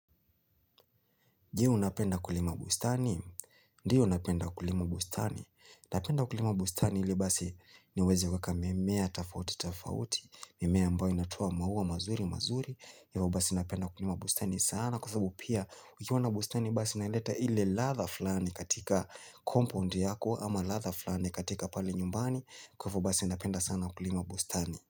Je unapenda kulima bustani? Ndiyo unapenda kulima bustani. Unapenda kulima bustani ili basi niweze kweka mimea, tafauti, tafauti. Mimea ambayo inatoa maua mazuri, mazuri. Ivo basi napenda kulima bustani sana. Kwa sababu pia ukiwa na bustani basi unaileta ile latha flani katika kompo ndi yako ama latha flani katika pale nyumbani. Kwa ivo basi napenda sana kulima bustani.